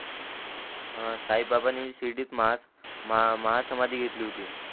साई बाबाणी शिर्डीत महा माहा समाधी घेतली होती